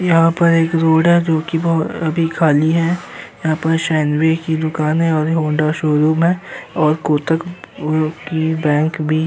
यहाँ पर एक रोड है जोकि अभी खाली है। यहाँ पर सैंडविच की दुकाने और हौंडा शोरूम है और कोटक की बैंक भी --